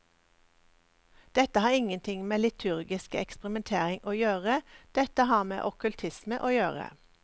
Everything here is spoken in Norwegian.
Dette har ingenting med liturgisk eksperimentering å gjøre, dette har med okkultisme å gjøre.